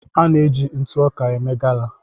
À na-eji ntụ ọka eme gala.